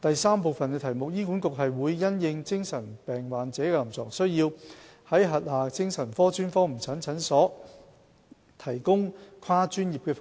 三醫管局會因應精神病患者的臨床需要，在轄下精神科專科門診診所提供跨專業服務。